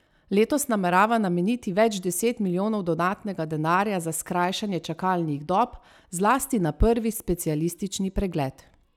Letos namerava nameniti več deset milijonov dodatnega denarja za skrajšanje čakalnih dob zlasti na prvi specialistični pregled.